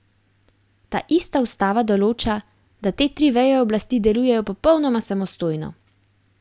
Ta ista ustava določa, da te tri veje oblasti delujejo popolnoma samostojno.